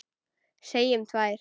Segjum tvær.